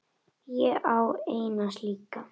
Ég á eina slíka.